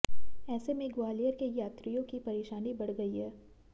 ऐसे में ग्वालियर के यात्रियों की परेशानी बढ़ गई है